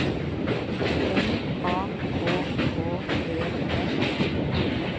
N A K K E N